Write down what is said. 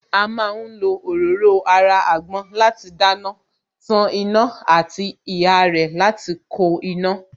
A má ń fi òróró ara àgbọn láti dáná, tan iná àti ihá rẹ̀ láti ko iná